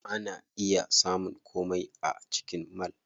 Ana iya samun komai a cikin mall.